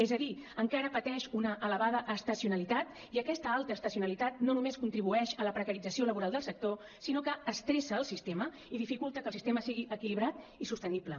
és a dir encara pateix una elevada estacionalitat i aquesta alta estacionalitat no només contribueix a la precarització laboral del sector sinó que estressa el sistema i dificultat que el sistema sigui equilibrat i sostenible